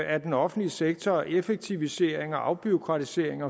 af den offentlige sektor og effektivisering og afbureaukratisering